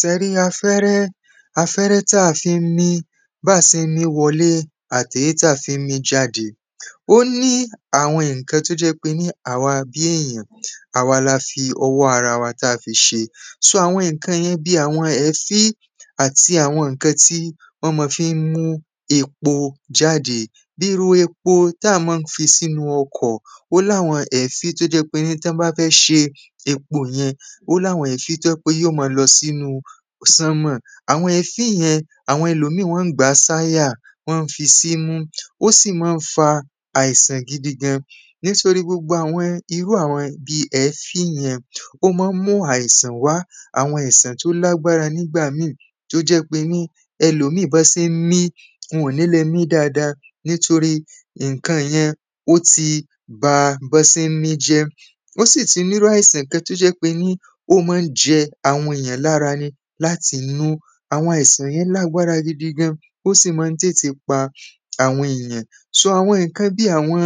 sẹ rí afẹ́rẹ́ afẹ́rẹ́ táa fi ń mí, báà se ń mí wọlé àti èyí tí à se ń mí jadé ó ní àwọn ǹkan tó jẹ́ pé ní àwa bí èyàn, àwa la fi ọwọ́ ara wa táa fi ṣe sò àwọn ǹkan yẹn bí àwọn èéfín, àti àwọn ǹkan tí wọ́n ma fi ń mú epo jadé bí irú epo táà ma ń fi sínú ọkọ̀ ó láwọn èéfín tó jẹ́ pé ní tọ́n bá fẹ́ ṣe epo yẹn, ó láwọn èéfin tó jẹ́ pé ní yóò máa lọ sínúu sánmọ̀, àwọn èéfín yẹn, àwọn ẹlòmíì wọ́n ń gbàá sáyà wọ́n ń fi símú, ó sì ma ń fa àìsàn gidigan. nítorí gbogbo àwọn bíi irú àwọn èéfín yẹn, ó ma ń mú àìsàn wá àwọn àisàn tó lágbára nígbà míì, tó jẹ́ pé ní ẹlòmíì bọ́n se n mí, wọn-ọ̀n ní le mí dáadáa nítorí ǹkan yẹn ó ti ba bọ́n se mí jẹ́ ó sì tí irú àìsàn kan tó jẹ́ pé ní ó ma ń jẹ àwọn èyàn lára ni láti inú, àwọn àìsàn yẹn lágbára gidigan ó sì ma ń tètè pa àwọn èyàn. sò àwọn ǹkan bí àwọn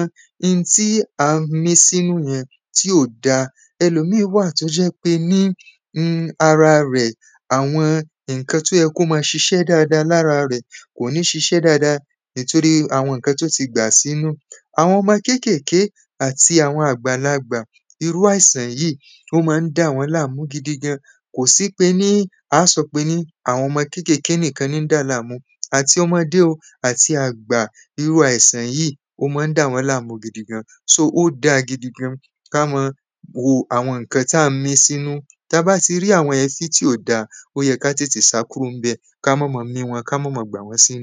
ntí à ń mí símú yẹn tí ò dáa, ẹlòmíí wà tó jẹ́ pé ní um ara rẹ̀, àwọn ǹkan tó yẹ kó ma ṣiṣẹ́ dáadáa lára rẹ̀, kò ní ṣiṣẹ́ dáadáa ìtorí ǹkan tó tí gbà símú àwọn ọmọ kékèké àti àwọn àgbàlagbà, irú àìsàn yìí ó máa ń dà wọ́n láàmú gidigan, kò sí pé ní a sọ pé ní àwọn ọmọ kékèké nìkan ni n dàláàmú àti ọmọdé o àti àgbà irú yìí, ó ma ń dà wọ́n láàmú gidigan sò, ó dáa gidigan ká ma wo àwọn ǹkan tàá ń mí símú, tà bá ti rí àwọn èéfín tí ò dáa, ó yẹ ká tètè sá kúrò ńbẹ̀, káá máa ma mí wọn, káa máa ma gbà wọ́n símú